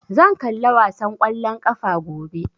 Zan kalla wasan ƙwallon ƙafa gobe